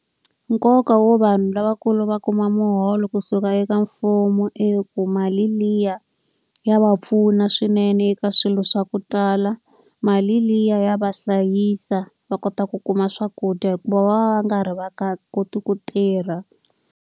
Nkoka wo vanhu lavakulu va kuma muholo kusuka eka mfumo i ku, mali liya ya va pfuna swinene eka swilo swa ku tala Mali liya ya va hlayisa va kota ku kuma swakudya hikuva va va nga ri va nga koti ku tirha.